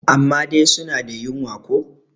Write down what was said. amma dai suna da wunya ko?